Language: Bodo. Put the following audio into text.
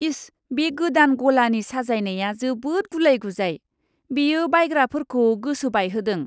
इस, बे गोदान गलानि साजायनाया जोबोद गुलाय गुजाय! बेयो बायग्राफोरखौ गोसो बायहोदों।